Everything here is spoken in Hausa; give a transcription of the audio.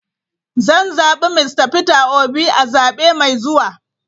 Zan zabi Mista Peter Obi a zabe mai zuwa.